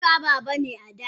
Emeka baban ada ne.